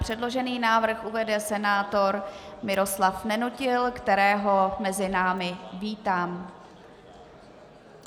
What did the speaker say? Předložený návrh uvede senátor Miroslav Nenutil, kterého mezi námi vítám.